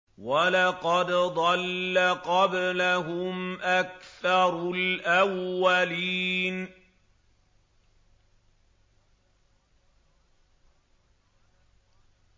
وَلَقَدْ ضَلَّ قَبْلَهُمْ أَكْثَرُ الْأَوَّلِينَ